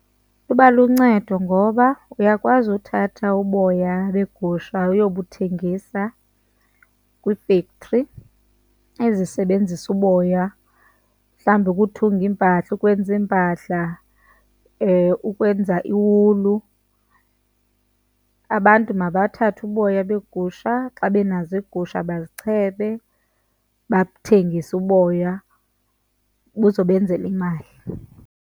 Iba luncedo ngoba uyakwazi uthatha uboya begusha uyobuthengisa kwiifektri ezisebenzisa uboya mhlawumbi ukuthunga iimpahla ukwenza iimpahla, ukwenza iwulu. Abantu mabathathe uboya beegusha xa benazo iigusha, bazichebe, bathengise uboya buzobenzela imali.